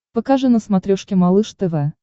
покажи на смотрешке малыш тв